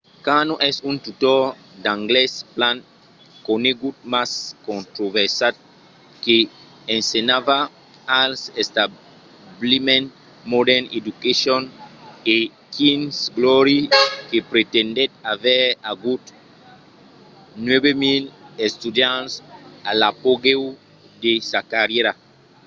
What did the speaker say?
karno es un tutor d'anglés plan conegut mas controversat que ensenhava als establiments modern education e king's glory que pretendèt aver agut 9 000 estudiants a l'apogèu de sa carrièra